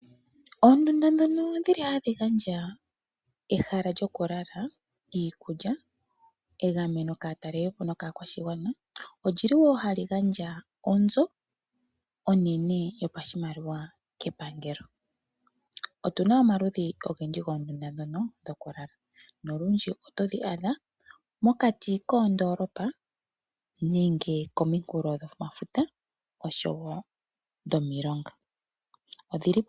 Oondunda ndhono hadhi gandja ehala lyokulala, iikulya negameno kaatalelipo nokaakwashigwana oli li wo hali gandja onzo onene yoshimaliwa kepangelo. Otu na omaludhi ogendji goondunda ndhono dhokulala nolundji otodhi adha mokati koondoolopa nenge kominkulofuta noshowo dhomilonga.